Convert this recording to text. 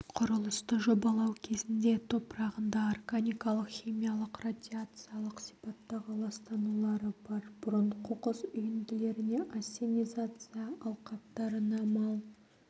құрылысты жобалау кезінде топырағында органикалық химиялық радиациялық сипаттағы ластанулары бар бұрын қоқыс үйінділеріне ассенизация алқаптарына мал